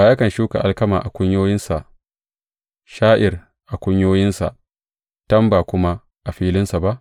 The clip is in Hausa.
Ba yakan shuka alkama a kunyoyinsa sha’ir a kunyoyinsa, tamba kuma a filinsa ba?